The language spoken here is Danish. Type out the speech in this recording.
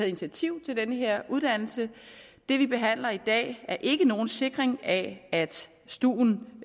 initiativ til denne uddannelse det vi behandler i dag er ikke nogen sikring af at stuen